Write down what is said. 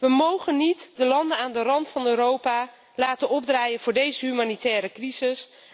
We mogen niet de landen aan de rand van Europa laten opdraaien voor deze humanitaire crisis.